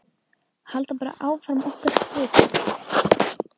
Halda bara áfram okkar striki.